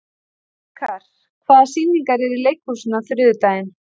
Vikar, hvaða sýningar eru í leikhúsinu á þriðjudaginn?